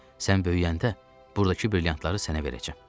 Sən böyüyəndə burdakı brilyantları sənə verəcəm.